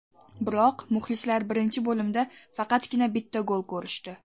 Biroq muxlislar birinchi bo‘limda faqatgina bitta gol ko‘rishdi.